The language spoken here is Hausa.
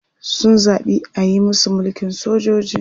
Sun zaɓi ayi musu mulkin sojoji.